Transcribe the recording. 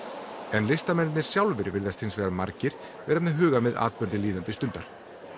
en listamennirnir sjálfir virðast hins vegar margir vera með hugann við atburði líðandi stundar